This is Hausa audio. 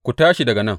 Ku tashi daga nan!